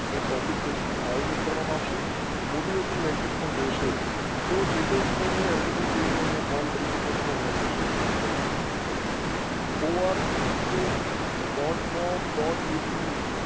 અને topic નું આયોજન કરવામાં આવશે. motivation lecture પર રહેશે તો જે તે મિત્રો ને એડમિશન જો તું અહિયાં કૉલ કરી શકો એડમિશન લાયી શકો છો. O R G geo V dot com dot એડ્યુ